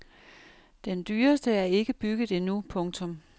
Den dyreste er ikke bygget endnu. punktum